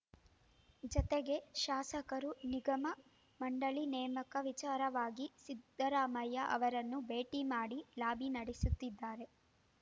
ಜತೆಗೆ ಶಾಸಕರು ನಿಗಮಮಂಡಳಿ ನೇಮಕ ವಿಚಾರವಾಗಿ ಸಿದ್ದರಾಮಯ್ಯ ಅವರನ್ನು ಭೇಟಿ ಮಾಡಿ ಲಾಬಿ ನಡೆಸುತ್ತಿದ್ದಾರೆ